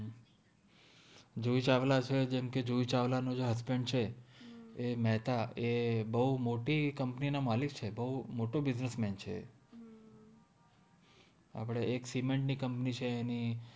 જુહિ ચાવ્લા છે જેમ્કે જુહિ ચાવલ નો જે husband છે એ મેહ્તા એ બૌ મોતિ કોમ્પની નો માલિક છે બૌ મોતો બિસ્નેસ્સ મેન છે એક સિમેન્ત નિ કોમ્પનિ ચે એનિ